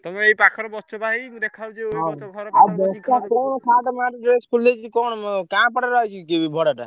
ତମେ ଏଇ ପାଖରେ ବସିଛ ବା ଏଇ ମୁଁ ଦେଖା ହଉଛି କଣ ସାଟ ମାଟ ଡ୍ରେସ ଫ୍ରେଶ ଖୋଲିଦେଇଛି କଣ ର ଉଆସିଛି କି ଭଡା ଟା।